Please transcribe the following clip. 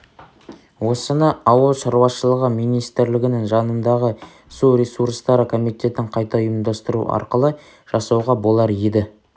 осыны ауыл шаруышылығы министрлігінің жанындағы су ресурстары комитетін қайта ұйымдастыру арқылы жасауға болар еді